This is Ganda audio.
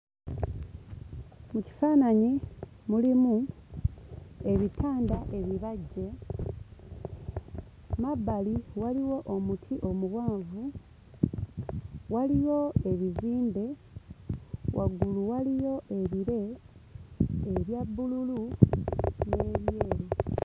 Ekifaananyi mulimu ebitanda ebibajje, mabbali waliwo omuti omuwanvu, waliyo ebizimbe, waggulu waliyo ebire ebya bbululu n'ebyeru.